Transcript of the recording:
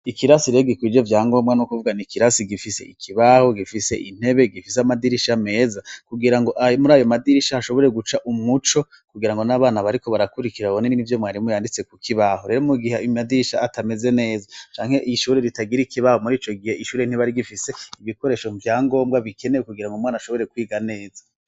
Ikirasi rega ikwijo vya ngombwa no kuvwa n' ikirasi gifise ikibaho gifise intebe gifise amadirisha ameza kugira ngo muri ayo madirisha hashobore guca umuco kugira ngo n'abana bariko barakurikira babone n'i vyo mwarimu yanditse kukibaho rero mu gihe imadirisha atameze neza canke ishobore ritagire ikibaho muri ico gihe ishure ntibari gifise ibikoresho vya ngombwa bikenewe kugira ngo mwana ashobore kwiga neza.